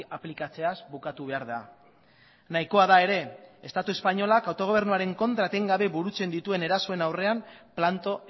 aplikatzeaz bukatu behar da nahikoa da ere estatu espainolak autogobernuaren kontra etengabe burutzen dituen erasoen aurrean planto